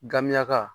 Gamiyaka